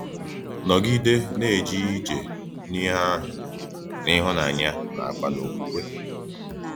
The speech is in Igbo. NÒGÍDÈ NA-ÀJÈ ÌJÈ N’ÌHÈ ÀHỤ̣, N’ÌHÚ́NÀNYÀ NÀKWÀ N’ÒKWÚKWÉ.